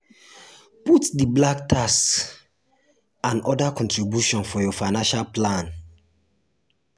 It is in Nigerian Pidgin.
put di "black tax" and other contributions for your financial plan